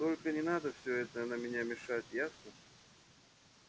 только не надо всё это на меня мешать ясно